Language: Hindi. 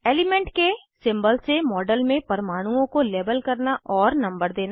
एलिमेंट के सिंबल से मॉडल में परमाणुओं को लेबल करना और नंबर देना